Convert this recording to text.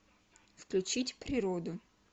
включить природу